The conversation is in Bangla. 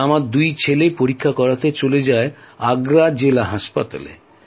তাই আমার দুই ছেলে পরীক্ষা করাতে চলে যায় আগ্রা জেলা হাসপাতালে